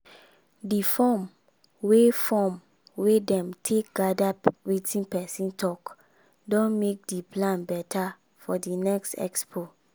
the form wey form wey dem take gather wetin people talk don make di plan better for di next expo.